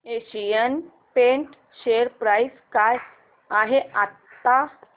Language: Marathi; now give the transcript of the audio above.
एशियन पेंट्स शेअर प्राइस काय आहे आता